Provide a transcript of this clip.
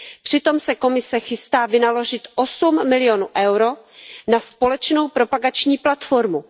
Přitom se Komise chystá vynaložit 8 milionů EUR na společnou propagační platformu.